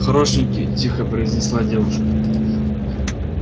хорошенький тихо произнесла девушка